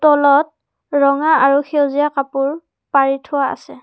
তলত ৰঙা আৰু সেউজীয়া কাপোৰ পাৰি থোৱা আছে।